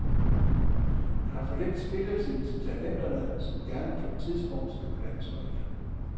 Der er for lidt spilletid til talenterne, som gerne på et tidspunkt skal på landsholdet.